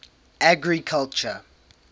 agriculture